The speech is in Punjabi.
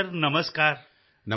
hello sir Namaskar